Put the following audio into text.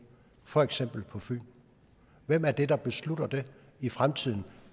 for eksempel på fyn hvem er det der beslutter det i fremtiden